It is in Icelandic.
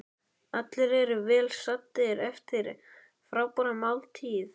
Allir eru vel saddir eftir frábæra máltíð.